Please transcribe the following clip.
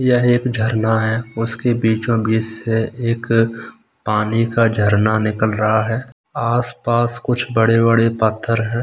यह एक झरना है उसके बीचों-बीच से एक पानी का झरना निकल रहा है आस-पास कुछ बड़े-बड़े पत्थर हैं।